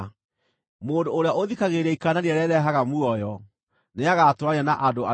Mũndũ ũrĩa ũthikagĩrĩria ikaanania rĩrĩa rĩrehaga muoyo nĩagatũũrania na andũ arĩa oogĩ.